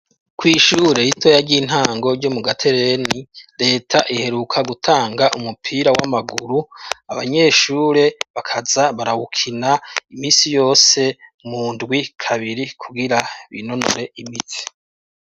Kw'ishure ritoya ry'intango ryo mu Gatereni reta iheruka gutanga umupira w'amaguru abanyeshure bakaza barawukina imisi yose mu ndwi kabiri kugira binonore imitsi.